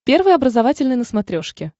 первый образовательный на смотрешке